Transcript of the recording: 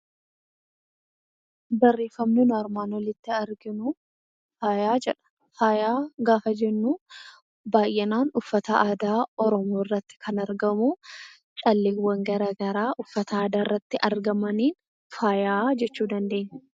Barreeffamni armaan olitti ilaaluuf jennu, faayaa jedhama. Faayaa gaafa jennu baayyinaan uffata aadaa Oromoo irratti kan argamu, calleewwan garaagaraa uffata aadaa irratti argaman faayaa jechuu dandeenya.